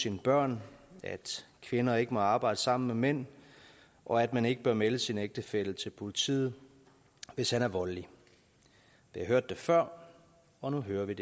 sine børn at kvinder ikke må arbejde sammen med mænd og at man ikke bør melde sin ægtefælle til politiet hvis han er voldelig vi har hørt det før og nu hører vi